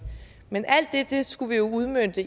men alt det skulle vi jo udmønte